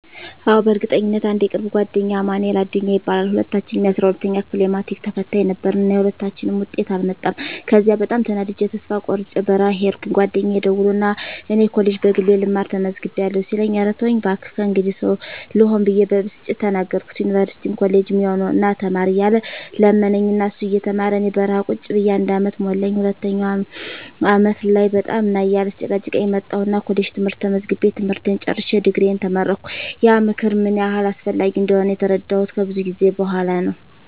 አዎ፣ በእርግጠኝነት! *አንድ የቅርብ ጓደኛዬ አማንኤል አዱኛ ይባላል፦ *ሁለታችንም የ12ኛ ክፍል የማትሪክ ተፈታኝ ነበርን እና የሁለታችንም ውጤት አልመጣም ከዚያ በጣም ተናድጀ ተስፋ ቆርጨ በረሀ ሂድኩኝ ጓደኛየ ደውሎ ና እኔ ኮሌጅ በግሌ ልማር ተመዝግቢያለሁ ሲለኝ እረ ተወኝ ባክህ ከእንግዲህ ሰው ልሆን ብየ በብስጭት ተናገርኩት ዩኒቨርስቲም ኮሌጅም ያው ነው ና ተማር እያለ ለመነኝ እና እሱ እየተማረ እኔ በረሀ ቁጭ ብየ አንድ አመት ሞላኝ ሁለተኛው አመት ላይ በጣም ና እያለ ሲጨቀጭቀኝ መጣሁና ኮሌጅ ትምህርት ተመዝግቤ ትምህርቴን ጨርሸ ድግሪየን ተመረቀሁ። *ያ ምክር ምን ያህል አስፈላጊ እንደሆነ የተረዳሁት ከብዙ ጊዜ በኋላ ነው።